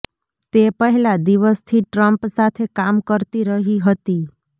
તે પહેલા દિવસથી ટ્રમ્પ સાથે કામ કરતી રહી હતી